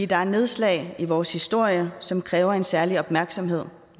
der er nedslag i vores historie som kræver en særlig opmærksomhed